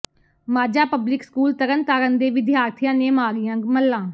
Majha public school Tarn Taran ਦੇ ਵਿਦਿਆਰਥੀਆਂ ਨੇ ਮਾਰੀਆਂ ਮੱਲਾਂ